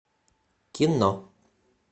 кино